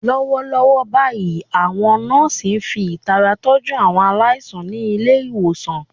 Lọ́wọ́lọ́wọ́ báyìí, àwọn nọ́ọ̀sì ń fi ìtara tọ́jú àwọn aláìsàn ní ilé ìwòsàn.